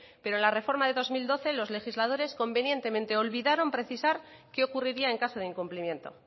pero en la reforma de dos mil doce los legisladores convenientemente olvidaron precisar qué ocurriría en caso de incumplimiento